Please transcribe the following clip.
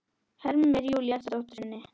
hermir Júlía eftir dóttur sinni.